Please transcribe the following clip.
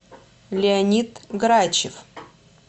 леонид грачев